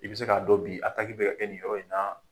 I bɛ se k'a dɔn bi ataki bɛ ka kɛ nin yɔrɔ in na.